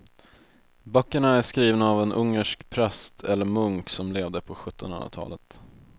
Böckerna är skrivna av en ungersk präst eller munk som levde på sjuttonhundratalet.